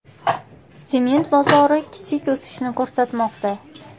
Sement bozori kichik o‘sishni ko‘rsatmoqda.